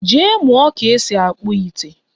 Jee mụọ ka-esi akpụ ite!